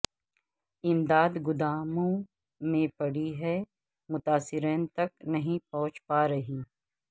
امداد گوداموں میں پڑی ہے متاثرین تک نہیں پہنچ پا رہی